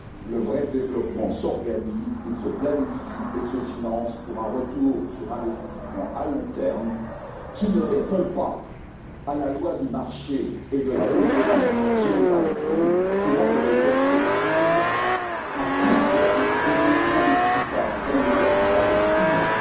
Le vrai développement s'organise, il se planifie et se finance, pour un retour sur investissement à long terme qui ne répond pas à la loi du marché et de la concurrence généralisée qui, pour sa part, n'a que des perspectives à court terme et n'investit donc pas dans le capital humain.